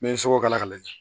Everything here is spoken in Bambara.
N bɛ sukoro kala k'a lajɛ